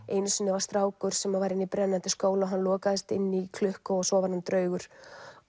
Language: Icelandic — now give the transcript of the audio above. einu sinni var strákur sem var inni í brennandi skóla og hann lokaðist inni í klukku og svo varð hann draugur